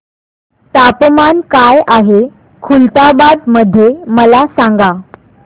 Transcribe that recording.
तापमान काय आहे खुलताबाद मध्ये मला सांगा